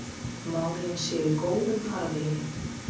Málin séu í góðum farvegi.